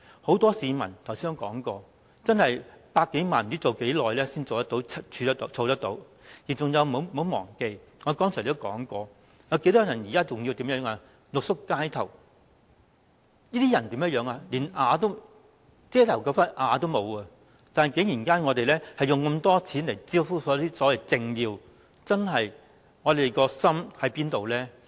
正如我剛才提到，很多市民不知道要工作多少年，才可以儲到100多萬元，而且大家不要忘記，現時很多人仍然要露宿街頭，連一塊遮頭的瓦片也沒有，但我們卻竟然花那麼多錢來招呼政要，我們的心究竟放在哪裏？